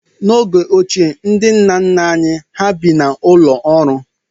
N'oge ochie, ndị nna nna anyị hà bi n'ụlọ ụrọ.